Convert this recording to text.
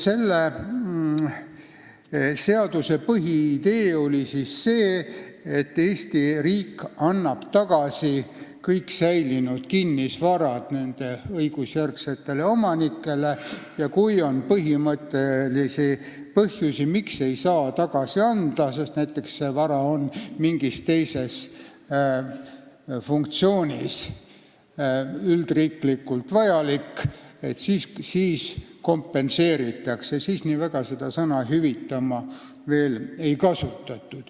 Selle seaduse põhiidee oli see, et Eesti riik annab kogu säilinud kinnisvara tagasi õigusjärgsetele omanikele ja kui on põhimõttelisi põhjusi, miks ei saa tagasi anda, näiteks see vara on mingis teises funktsioonis üldriiklikult vajalik, siis see kompenseeritakse .